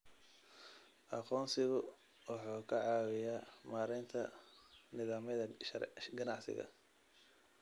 Aqoonsigu wuxuu ka caawiyaa maaraynta nidaamyada ganacsiga.